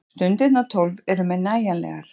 Stundirnar tólf eru mér nægjanlegar.